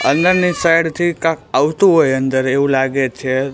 અંદરની સાઇડથી કાંક આવતું હોય અંદર એવું લાગે છે.